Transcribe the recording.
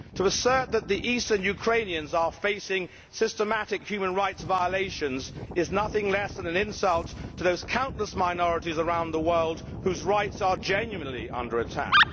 To assert that the eastern Ukrainians are facing systematic human rights violations is nothing less than an insult to those countless minorities around the world whose rights are genuinely under attack.